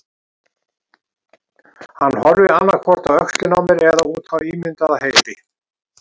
Hann horfir, annað hvort á öxlina á mér eða út á ímyndaða heiði.